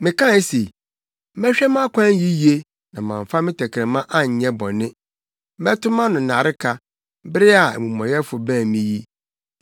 Mekae se, “Mɛhwɛ mʼakwan yiye na mamfa me tɛkrɛma anyɛ bɔne; mɛto mʼano nnareka bere a amumɔyɛfo bɛn me yi.